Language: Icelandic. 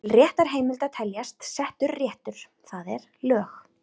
Til réttarheimilda teljast: Settur réttur, það er lög.